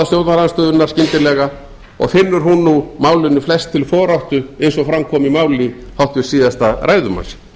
stjórnarandstöðunnar skyndilega og finnur hún nú málinu flest til foráttu eins og fram kom í máli háttvirts síðasta ræðumanns